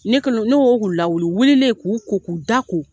Ne kɛlen ne ko n k'u lawili, u wililen k'u ko k'u da ko.